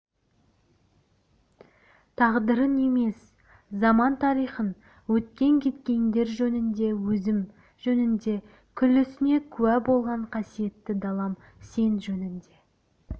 тағдырын емес заман тарихын өткен-кеткендер жөнінде өзім жөнінде күллісіне куә болған қасиетті далам сен жөнінде